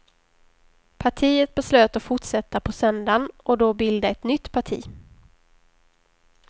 Partiet beslöt att fortsätta på söndagen och då bilda ett nytt parti.